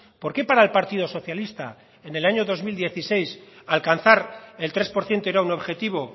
por qué para el partido socialista en el año dos mil dieciséis alcanzar el tres por ciento era un objetivo